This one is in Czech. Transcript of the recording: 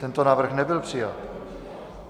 Tento návrh nebyl přijat.